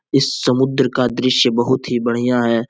इस समुद्र का दृश्य बहुत ही बढ़िया है|